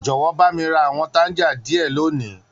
Jọwọ, ba mi ra àwọn tanja diẹ loni.